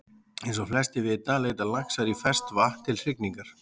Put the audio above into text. Eins og flestir vita leita laxar í ferskt vatn til hrygningar.